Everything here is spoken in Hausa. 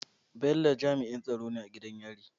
Bello jami'in tsaro ne a gidan yari